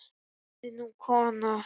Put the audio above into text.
Hún verður ný kona.